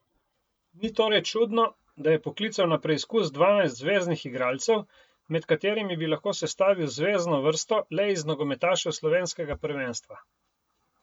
Ni torej čudno, da je poklical na preizkus dvanajst zveznih igralcev, med katerimi bi lahko sestavil zvezno vrsto le iz nogometašev slovenskega prvenstva.